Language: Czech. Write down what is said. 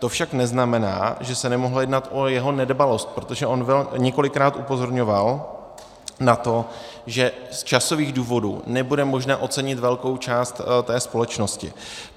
To však neznamená, že se nemohlo jednat o jeho nedbalost, protože on několikrát upozorňoval na to, že z časových důvodů nebude možné ocenit velkou část té společnosti.